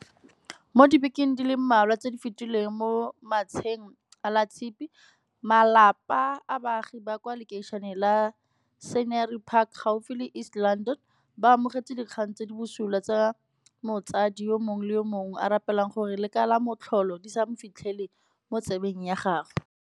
Mo dibekeng di le mmalwa tse di fetileng mo matsheng a Latshipi, malapa a baagi ba kwa lekeišeneng la Scenery Park gaufi le East London, ba amogetse dikgang tse di busula tse motsadi yo mongwe le yo mongwe a rapelang gore le ka la motlholo di se fitlhe mo 'tsebeng ya gagwe.